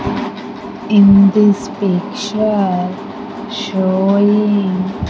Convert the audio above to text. in this picture showing --